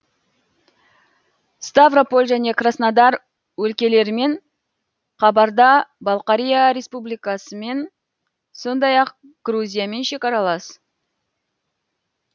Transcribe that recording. ставрополь және краснодар өлкелерімен қабарда балқария республикасымен сондай ақ грузиямен шекаралас